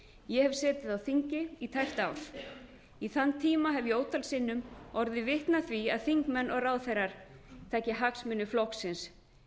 ég hef setið á þingi í tæpt ár í þann tíma hef ég ótal sinnum orðið vitni að því að þingmenn og ráðherrar taki hagsmuni flokksins